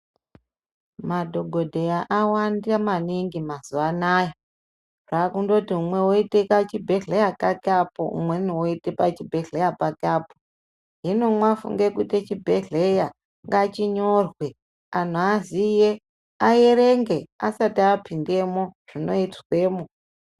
Madhokodheya awanda maningi mazuwa anaya zvakundoti umwe oite kuchibhedhleya pake apo umwe oite pachibhehleya pake apo hino mwafunge kuite chibhedhleya ngachinyorwe antu aziye aerenge asati apindemo zvinoizwemwo.